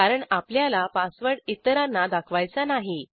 कारण आपल्याला पासवर्ड इतरांना दाखवायचा नाही